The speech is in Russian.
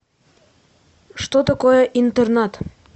что такое интернат